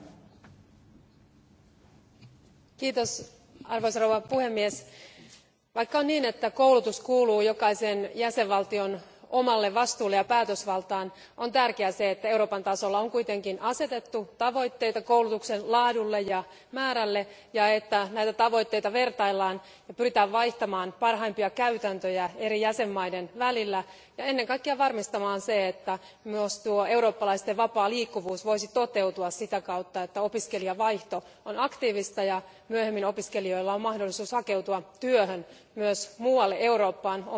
Arvoisa puhemies, vaikka on niin, että koulutus on jokaisen jäsenvaltion omalla vastuulla ja kuuluu sen päätösvaltaan, on tärkeää, että Euroopan tasolla on kuitenkin asetettu tavoitteita koulutuksen laadulle ja määrälle ja että näitä tavoitteita vertaillaan ja että pyritään vaihtamaan parhaimpia käytäntöjä eri jäsenvaltioiden välillä ja ennen kaikkea varmistamaan se, että myös eurooppalaisten vapaa liikkuvuus voisi toteutua siten, että opiskelijavaihto on aktiivista ja myöhemmin opiskelijoilla olisi mahdollisuus hakeutua työhön myös muualle Eurooppaan kielitaitonsa ja kulttuurituntemuksensa ansiosta.